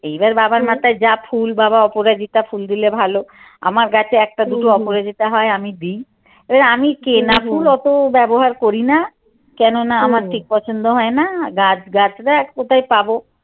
এইবার বাবার মাথায় যা ফুল বাবা অপরাজিতা ফুল দিলে ভালো আমার গাছে একটা দুটো অপরাজিতা হয় আমি দিই এ আমি কেনা ফুল অত ব্যবহার করি না কেননা আমার ঠিক পছন্দ হয় না গাছ গাছড়া আর কোথয়ি পাব?